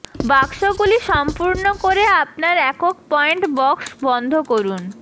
বাক্সগুলি সম্পূর্ণ করে আপনার একক পয়েন্ট বক্স বন্ধ করুন